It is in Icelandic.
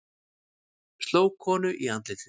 Sló konu í andlitið